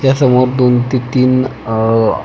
त्या समोर दोन ते तीन अह--